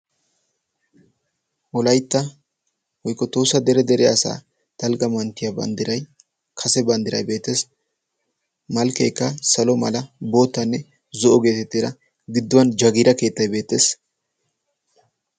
wolaytta woykko tohosa dere dere asaa dalgga manttiyaa banddiray kase banddiray beetees malkkeekka salo mala bootanne zo'o geetettiira gidduwan jagiira keettay beetees